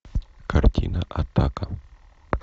картина атака